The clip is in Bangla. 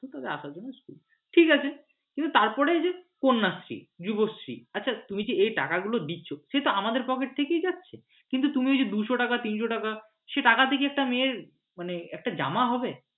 ঠিক আছে কিন্তু তারপরে যদি কন্যাশ্রী যুবশ্রী আচ্ছা তুমি কি এই টাকাগুলো দিচ্ছ সেটাতো আমাদের pocket থেকেই যাচ্ছে কিন্তু তুমি দুশো টাকা তিনশো টাকা সে টাকাতে কি একটা মেয়ের মানে একটা জামা হবে?